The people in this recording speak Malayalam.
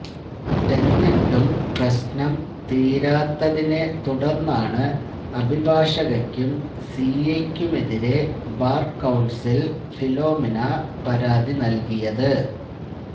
എന്നിട്ടും പ്രശ്നം തീരാത്തതിനെ തുടര്ന്നാണ് അഭിഭാഷകക്കും സി ഐക്കുമെതിരെ ബാര് കൌണ്സിലില് ഫിലോമിന പരാതി നല്കിയത്